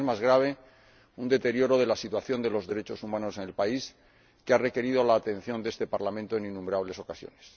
y, lo que es más grave, un deterioro de la situación de los derechos humanos en el país, que ha requerido la atención de este Parlamento en innumerables ocasiones.